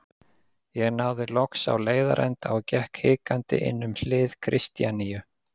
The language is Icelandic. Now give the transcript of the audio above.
Ég náði loks á leiðarenda og gekk hikandi inn um hlið Kristjaníu.